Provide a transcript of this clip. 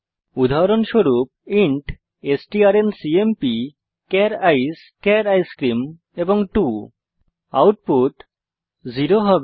উদাহরণস্বরূপ ইন্ট strncmpচার আইসিই চার আইসক্রিম 2 আউটপুট 0 হবে